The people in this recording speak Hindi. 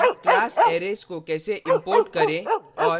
class arrays को कैसे import करें और